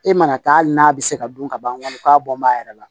E mana taa hali n'a bɛ se ka dun ka ban k'a bɔn bɔn a yɛrɛ la